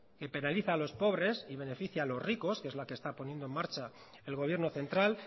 que penaliza a los pobres y beneficia a los ricos que es la que está poniendo en marcha el gobierno central